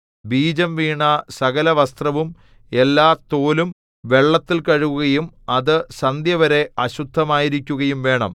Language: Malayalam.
ബീജം വീണ സകലവസ്ത്രവും എല്ലാ തോലും വെള്ളത്തിൽ കഴുകുകയും അത് സന്ധ്യവരെ അശുദ്ധമായിരിക്കുകയും വേണം